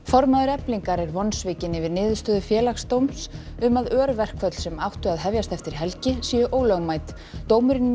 formaður Eflingar er vonsvikinn yfir niðurstöðu Félagsdóms um að örverkföll sem áttu að hefjast eftir helgi séu ólögmæt dómurinn